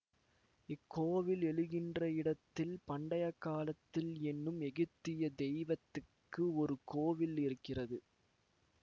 இக்கோவில் எழுகின்ற இடத்தில் பண்டையக்காலத்தில் என்னும் எகிப்திய தெய்வத்துக்கு ஒரு கோவில் இருக்கிறது